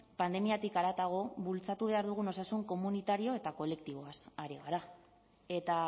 pandemiatik haratago bultzatu behar dugun osasun komunitario eta kolektiboaz ari gara eta